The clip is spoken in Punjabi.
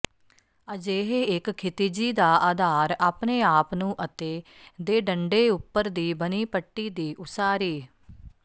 ਅਜਿਹੇ ਇੱਕ ਖਿਤਿਜੀ ਦਾ ਅਧਾਰ ਆਪਣੇ ਆਪ ਨੂੰ ਅਤੇ ਦੇਡੰਡੇਉੱਪਰ ਦੀ ਬਣੀ ਪੱਟੀ ਦੀ ਉਸਾਰੀ